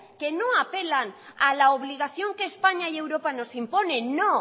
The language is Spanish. que no apelan a la obligación que españa y europa nos imponen no